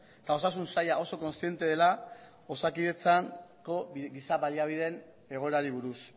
eta osasun saila oso kontziente dela osakidetzako giza baliabideen egoerari buruz